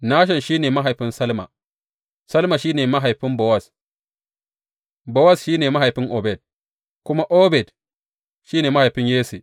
Nashon shi ne mahaifin Salma, Salma shi ne mahaifin Bowaz, Bowaz shi ne mahaifin Obed kuma Obed shi ne mahaifin Yesse.